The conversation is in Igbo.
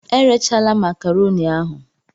Erechala makaroni ahun!